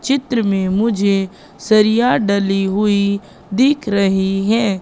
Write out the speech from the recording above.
चित्र में मुझे सरिया डली हुई दिख रही है।